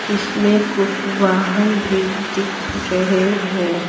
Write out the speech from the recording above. इसमें कुछ वाहन भी दिख रहे हैं।